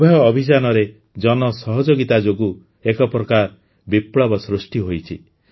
ଉଭୟ ଅଭିଯାନରେ ଜନସହଯୋଗିତା ଯୋଗୁଁ ଏକ ପ୍ରକାର ବିପ୍ଳବ ସୃଷ୍ଟି ହୋଇଛି